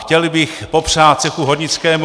Chtěl bych popřát cechu hornickému...